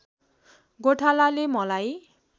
गोठालाले मलाई